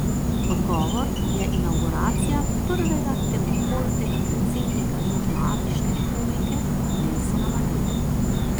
Odgovor je inavguracija prvega temnopoltega predsednika Južnoafriške republike Nelsona Mandele.